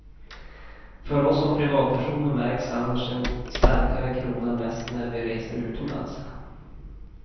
För oss som privatpersoner märks annars en starkare krona mest, när vi reser utomlands.